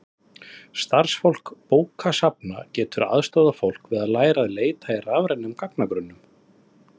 starfsfólk bókasafna getur aðstoðað fólk við að læra að leita í rafrænum gagnagrunnum